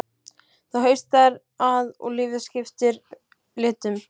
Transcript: Það haustar að og lífið skiptir litum.